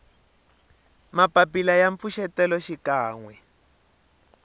mapapila ya mpfuxeto xikan we